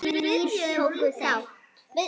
Þrír tóku þátt.